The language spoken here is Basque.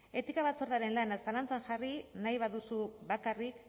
etika batzordearen lana zalantzan jarri nahi baduzu bakarrik